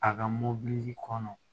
A ka mobili kɔnɔ